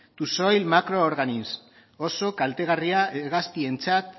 to soil micro organisms oso kaltegarria hegaztientzat